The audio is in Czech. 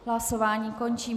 Hlasování končím.